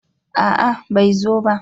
a'a bai zo ba